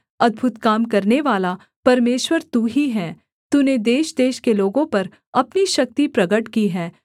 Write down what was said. अद्भुत काम करनेवाला परमेश्वर तू ही है तूने देशदेश के लोगों पर अपनी शक्ति प्रगट की है